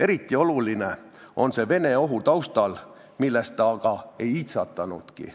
Eriti oluline on see Vene ohu taustal, millest ta aga ei iitsatanudki.